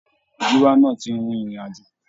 Gíwá náà ti rin ìrìn àjò.